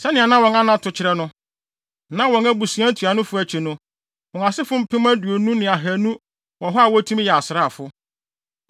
Sɛnea na wɔn anato kyerɛ no, na wɔn abusua ntuanofo akyi no, wɔn asefo mpem aduonu ne ahannu (20,200) wɔ hɔ a wotumi yɛ asraafo.